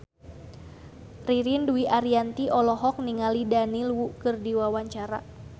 Ririn Dwi Ariyanti olohok ningali Daniel Wu keur diwawancara